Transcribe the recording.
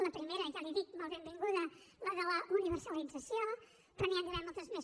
la primera ja li ho dic molt benvinguda la de la universalització però n’hi han d’haver moltes més